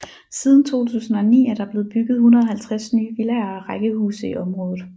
Siden 2009 er der blevet bygget 150 nye villaer og rækkehuse i området